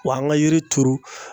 Wa an ka yiri turu